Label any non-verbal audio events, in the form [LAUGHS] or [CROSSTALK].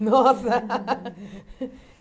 [LAUGHS] Nossa!